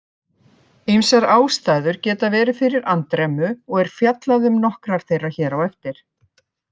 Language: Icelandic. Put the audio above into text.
Ýmsar ástæður geta verið fyrir andremmu og er fjallað um nokkrar þeirra hér á eftir.